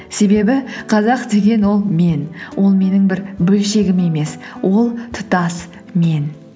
себебі қазақ деген ол мен ол менің бір бөлшегім емес ол тұтас мен